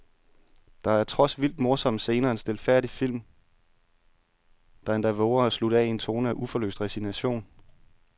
Der er trods vildt morsomme scener en stilfærdig film, der endda vover at slutte af i en tone af uforløst resignation.